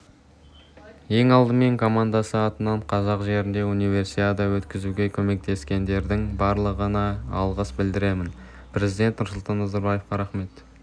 ең алдымен командасы атынан қазақ жерінде универсиада өткізуге көмектескендердің барлығына алғыс білдіремін президент нұрсұлтан назарбаевқа рахмет